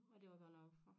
Og det var godt nok